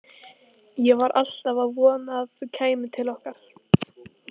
Ég var alltaf að vona að þú kæmir til okkar.